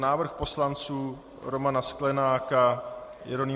Návrh poslanců Romana Sklenáka, Jeronýma